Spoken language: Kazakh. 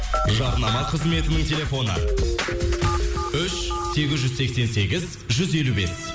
жарнама қызметінің телефоны үш сегіз жүз сексен сегіз жүз елу бес